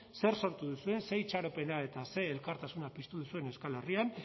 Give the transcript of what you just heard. zer sortu duzuen zer itxaropena eta ze elkartasuna piztu zuen euskal herrian